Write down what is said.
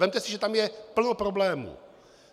Vezměte si, že tam je plno problémů.